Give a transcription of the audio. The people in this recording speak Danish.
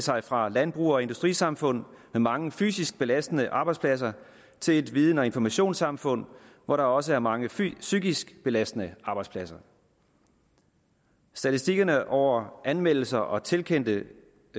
sig fra et landbrug og industrisamfund med mange fysisk belastende arbejdspladser til et viden og informationssamfund hvor der også er mange psykisk belastende arbejdspladser statistikkerne over anmeldelser og tilkendte